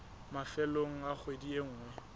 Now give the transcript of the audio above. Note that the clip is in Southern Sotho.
mafelong a kgwedi e nngwe